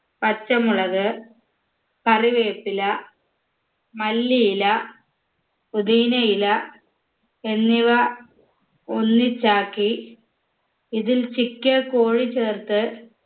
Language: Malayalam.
പച്ചമുളക് കറിവേപ്പില മല്ലിയില പൊതീനയില എന്നിവ ഒന്നിച്ചാക്കി ഇതിൽ ചിക്കിയ കോഴി ചേർത്ത്